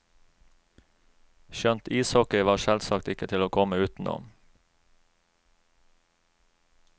Skjønt ishockey var selvsagt ikke til å komme utenom.